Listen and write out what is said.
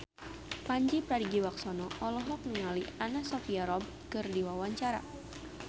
Pandji Pragiwaksono olohok ningali Anna Sophia Robb keur diwawancara